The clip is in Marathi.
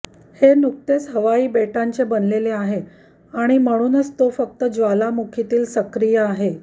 हे नुकतेच हवाई बेटांचे बनलेले आहे आणि म्हणूनच तो फक्त ज्वालामुखीतील सक्रिय आहे